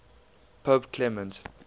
pope clement